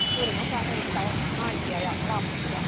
Suurin osa heistä on naisia ja lapsia.